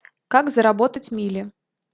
как заработать мили